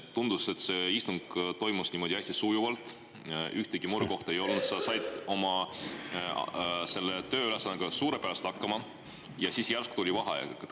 Tundus, et see istung toimus niimoodi hästi sujuvalt, ühtegi murekohta ei olnud, sa said oma tööülesandega suurepäraselt hakkama, ja siis järsku tuli vaheaeg.